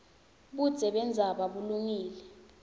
budze bendzaba bulungile